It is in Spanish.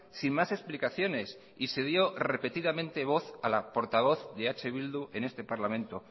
sin más explicaciones y se dio repetidamente voz a la portavoz de eh bildu en este parlamento